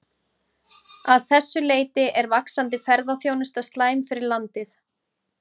Að þessu leyti er vaxandi ferðaþjónusta slæm fyrir landið.